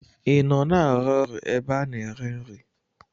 I nọ na-arụ ọrụ n'ebe a na-ere nri?